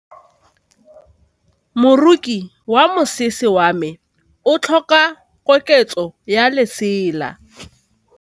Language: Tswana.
Moroki wa mosese wa me o tlhoka koketsô ya lesela.